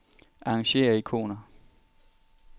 Arrangér ikoner.